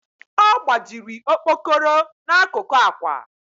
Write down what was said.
ọ gbajiri okpokoro n'akụkụ ákwà